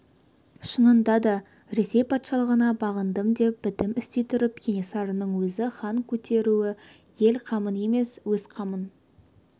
шынында да ресей патшалығына бағындым деп бітім істей тұрып кенесарының өзін хан көтертуі ел қамын емес өз қамын